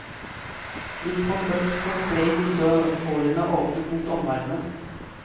Import og eksport ble i disse årene åpnet mot omverdenen.